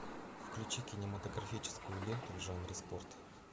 включи кинематографическую ленту в жанре спорт